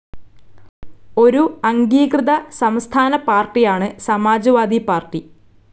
ഒരു അംഗീകൃത സംസ്ഥാന പാർട്ടിയാണ് സമാജ്‍വാദി പാർട്ടി.